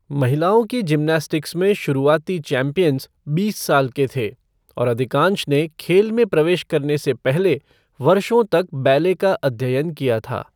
महिलाओं की जिम्नास्टिक्स में शुरुआती चैंपियन बीस साल के थे, और अधिकांश ने खेल में प्रवेश करने से पहले वर्षों तक बैले का अध्ययन किया था।